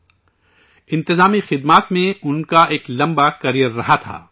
administrative service میں ان کا ایک لمبا کریئر رہا تھا